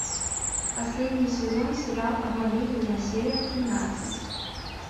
последний сезон сериал обмани меня серия тринадцать